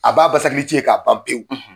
A b'a basakilici ye k'a ban pewu.